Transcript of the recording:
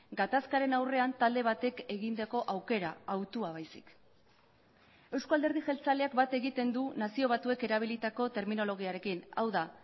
gatazkaren aurrean talde batek egindako aukera hautua baizik eusko alderdi jeltzaleak bat egiten du nazio batuek erabilitako terminologiarekin hau da